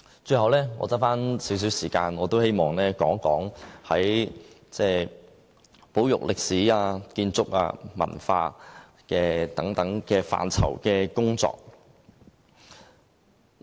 最後，餘下少許時間，我也希望談談保育歷史、建築、文化等範疇的工作。